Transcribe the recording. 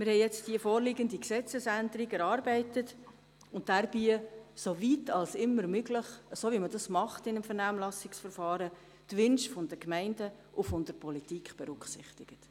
Wir haben die vorliegende Gesetzesänderung erarbeitet und dabei so weit als immer möglich die Wünsche der Gemeinden und der Politik berücksichtigt, so wie man das eben in einem Vernehmlassungsverfahren macht.